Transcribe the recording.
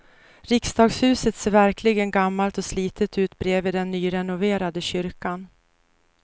Riksdagshuset ser verkligen gammalt och slitet ut bredvid den nyrenoverade kyrkan.